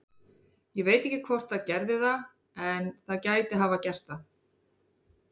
Ég veit ekki hvort það gerði það en það gæti hafa gert það.